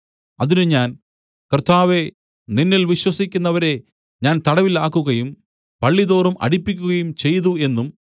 അതിന് ഞാൻ കർത്താവേ നിന്നിൽ വിശ്വസിക്കുന്നവരെ ഞാൻ തടവിൽ ആക്കുകയും പള്ളിതോറും അടിപ്പിക്കുകയും ചെയ്തു എന്നും